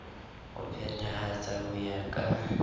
ho phethahatsa ho ya ka